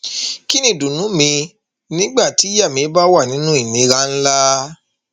kín ni ìdùnnú mi nígbà tíyàá mi bá wà nínú ìnira ńlá